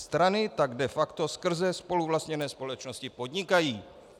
Strany tak de facto skrze spoluvlastněné společnosti podnikají.